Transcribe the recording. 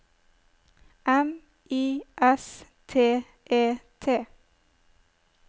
M I S T E T